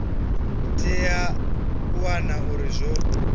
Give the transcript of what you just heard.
tea u wana uri zwo